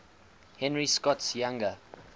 henry scott's younger